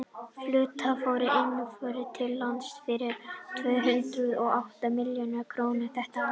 fluttar voru inn vörur til landsins fyrir tvö hundruð og átta milljarða króna þetta ár